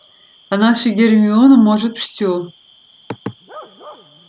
а наша гермиона может всё